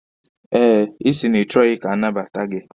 Eh, ịsị na ị chọghi ka anabata gị.